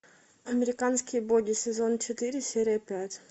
американские боги сезон четыре серия пять